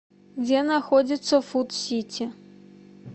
где находится фуд сити